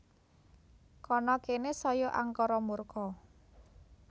Kana kene saya angkara murka